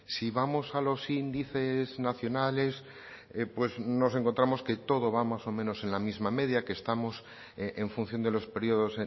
si vamos a los índices nacionales pues nos encontramos que todo va más o menos en la misma media que estamos en función de los periodos